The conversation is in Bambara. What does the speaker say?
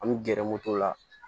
An mi gɛrɛ moto la